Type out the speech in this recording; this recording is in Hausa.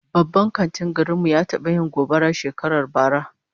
Babban kantin garin mu ya taba yin gobara shekarar bara